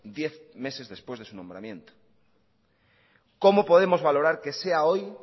diez meses después de su nombramiento cómo podemos valorar que sea hoy